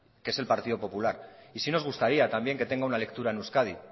que es partido popular y sí nos gustaría también que tenga una lectura en euskadi